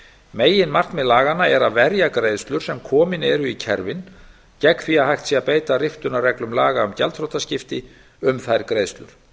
meginmarkmið laganna er að verja greiðslur sem komin eru í kerfin gegn því að hægt sé að beita riftunarreglum laga um gjaldþrotaskipti um þær greiðslur